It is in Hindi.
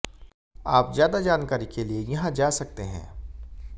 आप ज्यादा जानकारी के लिए यहाँ जा सकते हैं